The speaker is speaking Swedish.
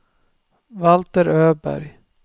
Valter Öberg